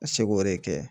Ka seko de kɛ